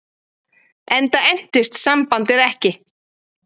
Enda entist sambandið ekki.